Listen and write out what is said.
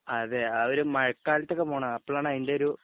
അതെ ആ ഒരു മയക്കാലത്തൊക്കെ പോണം അപ്പളാണ് അതിന്റെ ഒരു